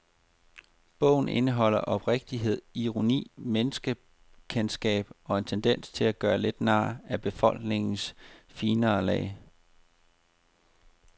Bogen indeholder oprigtighed, ironi, menneskekendskab og en tendens til at gøre lidt nar af befolkningens finere lag.